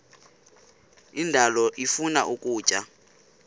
indalo ifuna ukutya